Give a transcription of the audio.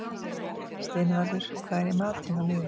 Steinvarður, hvað er í matinn á miðvikudaginn?